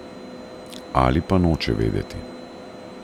Ali pa noče vedeti.